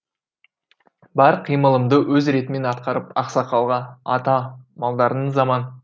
бар қимылымды өз ретімен атқарып ақсақалға ата малдарыңыз аман